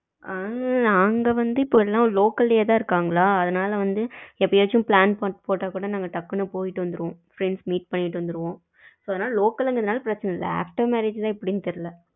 ஆ நாங்க வந்து இப்போ எல்லாம் local லயே தான் இருக்காங்களா அதனால வந்து எப்பயாச்சு plan போட்ட கூட நாங்க டக்குன்னு போயிட்டு வந்துருவோம் friends meet பண்ணிட்டு வந்துருவோம் இப்போ வந்து local அப்படிங்குறது னால பிரச்சன இல்ல after marriage எப்படின்னு தெரில.